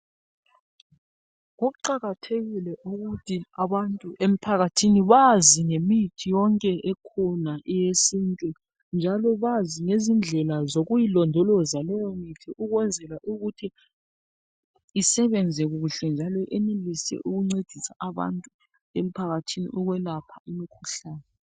Kuqakathekile ukuthi abantu emphakathini bazi ngemithi yonke ekhona eyesintu njalo bazi lezindlela zokuyi londoloza leyo mithi ukwenzela ukuthi isebenze kuhle njalo yenelise ukuncedisa abantu emphakathini ukwelapha imikhuhlane.